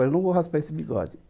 Eu não vou raspar esse bigode.